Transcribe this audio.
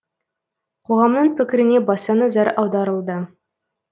қоғамның пікіріне баса назар аударылды